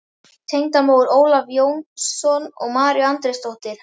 Tengdamóðir Ólafs Jónssonar var María Andrésdóttir.